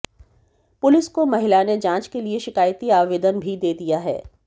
police को महिला ने जांच के लिए शिकायती आवेदन भी दे दिया है